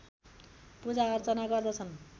पूजाअर्चना गर्दछन्